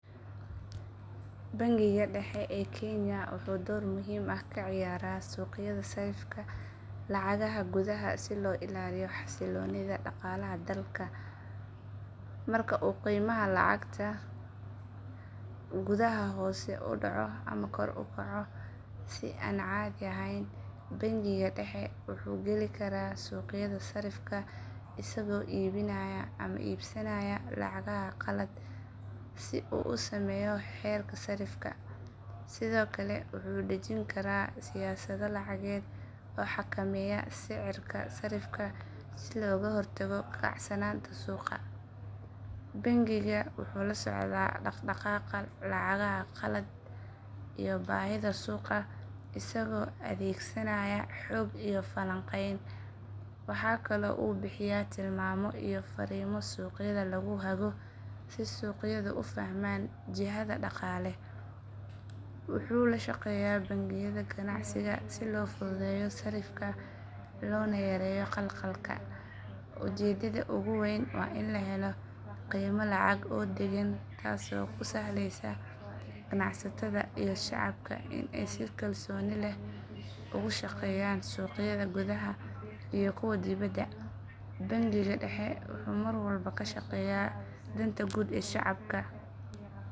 Bangiga dhexe ee kenya wuxuu door muhiim ah ka ciyaaraa suuqyada sarrifka lacagaha gudaha si loo ilaaliyo xasilloonida dhaqaalaha dalka. Marka uu qiimaha lacagta gudaha hoos u dhaco ama kor u kaco si aan caadi ahayn, bangiga dhexe wuxuu geli karaa suuqyada sarrifka isagoo iibinaya ama iibsanaya lacagaha qalaad si uu u saameeyo heerka sarrifka. Sidoo kale wuxuu dejin karaa siyaasado lacageed oo xakameeya sicirka sarrifka si looga hortago kacsanaanta suuqa. Bangigu wuxuu la socdaa dhaqdhaqaaqa lacagaha qalaad iyo baahida suuqa isagoo adeegsanaya xog iyo falanqeyn. Waxaa kaloo uu bixiya tilmaamo iyo farriimo suuqyada lagu hago si suuqyadu u fahmaan jihada dhaqaale. Wuxuu la shaqeeyaa bangiyada ganacsiga si loo fududeeyo sarrifka lana yareeyo khalkhalka. Ujeeddada ugu weyn waa in la helo qiime lacag oo deggan taasoo u sahlaysa ganacsatada iyo shacabka in ay si kalsooni leh ugu shaqeeyaan suuqyada gudaha iyo kuwa dibedda. Bangiga dhexe wuxuu mar walba ka shaqeeyaa danta guud ee shacabka.